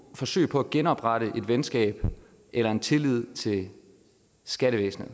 forsøg på at genoprette et venskab eller en tillid til skattevæsenet